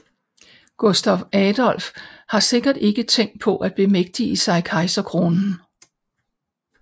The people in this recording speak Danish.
Gustav Adolf har sikkert ikke tænkt på at bemægtige sig kejserkronen